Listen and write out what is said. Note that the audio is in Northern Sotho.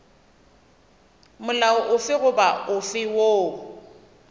molao ofe goba ofe woo